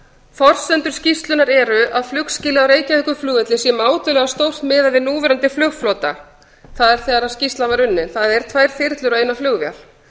forsendur skýrslunnar eru að flugskýlið á reykjavíkurflugvelli sé mátulega stórt miðað við núverandi flugflota tvær þyrlur og eina flugvél